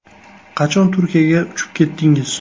Qachon Turkiyaga uchib ketdingiz?